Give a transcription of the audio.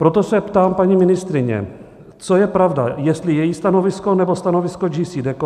Proto se ptám paní ministryně, co je pravda, jestli její stanovisko, nebo stanovisko JCDecaux?